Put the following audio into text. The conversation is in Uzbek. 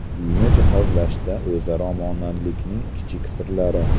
Uyni jihozlashda o‘zaro monandlikning kichik sirlari.